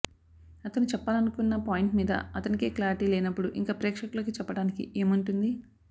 అతను చెప్పాలనుకున్న పాయింట్ మీద అతనికే క్లారిటి లేనప్పుడు ఇంక ప్రేక్షకులకి చెప్పడానికి ఏముంటుంది